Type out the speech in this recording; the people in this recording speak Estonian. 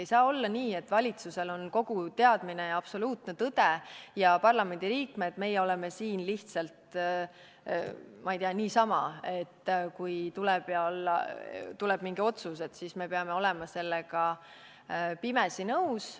Ei saa olla nii, et valitsusel on kogu teadmine ja absoluutne tõde ja meie, parlamendi liikmed, oleme siin lihtsalt, ma ei tea, niisama, et kui tuleb mingi otsus, siis me peame olema sellega pimesi nõus.